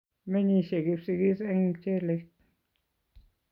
Menyishe kipsigis eng mchelek